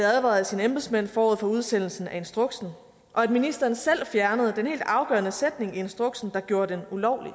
advaret af sine embedsmænd forud for udsendelsen af instruksen og at ministeren selv fjernede den helt afgørende sætning i instruksen der gjorde den ulovlig